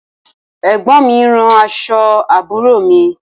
Ẹ̀gbọ́n mi ń rán aṣọ àbúrò mi